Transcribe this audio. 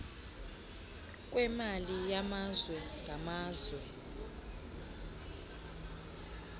kwemali yamazwe ngamazwe